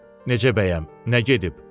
Necə bəyəm, nə gedib?